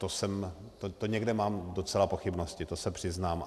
To někde mám docela pochybnosti, to se přiznám.